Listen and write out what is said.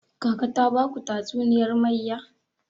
Kaka ta baku tatuniyar mayya?